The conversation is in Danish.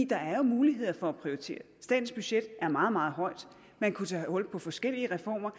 der er jo muligheder for at prioritere statens budget er meget meget højt så man kunne tage hul på forskellige reformer